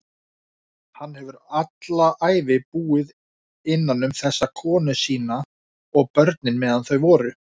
Hann hefur alla ævi búið innanum þessa konu sína- og börnin, meðan þau voru.